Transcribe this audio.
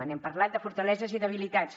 n’hem parlat de fortaleses i debilitats